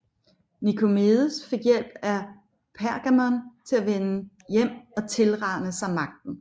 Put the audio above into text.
Nikomedes fik hjælp af Pergamon til at vende hjem og tilrane sig magten